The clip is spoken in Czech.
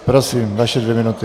Prosím, vaše dvě minuty.